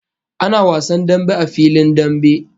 Ana wasan dambe a filin dambe